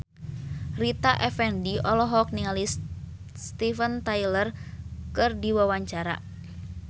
Rita Effendy olohok ningali Steven Tyler keur diwawancara